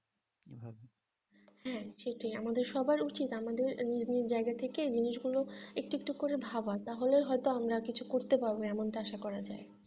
হ্যাঁ ঠিকই আমাদের সবার উচিত আমাদের নিজ নিজ জায়গা থেকে নিজে কোনো একটু একটু করে ভাবা তাহলে হয়তো আমরা কিছু করতে পারবো এমনটা আশা করা যাই